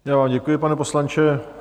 Já vám děkuji, pane poslanče.